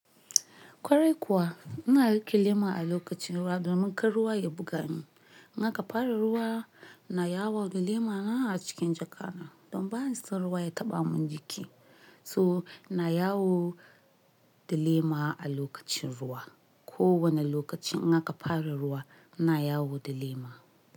Kwarai kuwa ina rike lema a lokacin ruwa domin kar ruwa ya buga ni. In aka fara ruwa ina yawo da lemana a cikin jaka na don ba ni son ruwa ya taɓa mun jiki. So na yawo da lema a lokacin ruwa. Ko wane lokacin in aka fara ruwa ina yawo da lema.